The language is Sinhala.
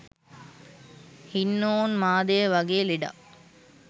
හින්නෝන්මාදය වගේ ලෙඩක්